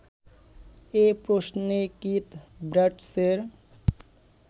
এ প্রশ্নে কিথ ব্রাডশের